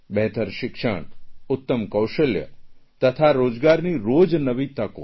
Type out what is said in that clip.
બહેતર શિક્ષણ ઉત્તમ કૌશલ્ય તથા રોજગારની રોજ નવી તકો